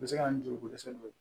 U bɛ se ka na ni joliko dɛsɛ dɔ ye